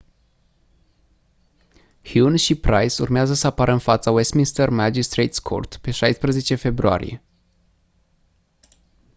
huhne și pryce urmează să apară în fața westminster magistrates court pe 16 februarie